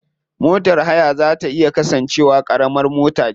Motar haya za ta iya kasance wa karamar mota ce.